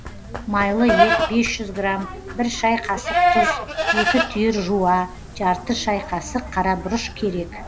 майлы ет бес жүз грамм бір шай қасық тұз екі түйір жуа жарты шай қасық қара бұрыш керек